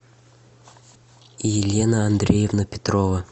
елена андреевна петрова